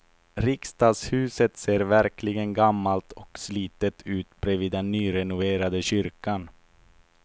Riksdagshuset ser verkligen gammalt och slitet ut bredvid den nyrenoverade kyrkan.